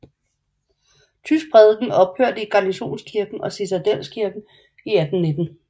Tysk prædiken ophørte i Garnisonskirken og i Citadelskirken i 1819